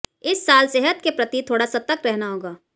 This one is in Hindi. इस साल सेहत के प्रति थोड़ा सतर्क रहना होगा